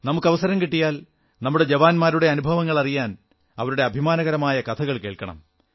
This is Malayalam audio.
നമുക്ക് അവസരം കിട്ടിയാൽ നമ്മുടെ ജവാന്മാരുടെ അനുഭവങ്ങൾ അറിയാൻ അവരുടെ അഭിമാനകരമായ കഥകൾ കേൾക്കണം